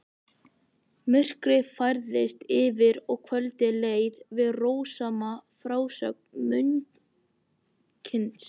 Myrkrið færðist yfir og kvöldið leið við rósama frásögn munksins.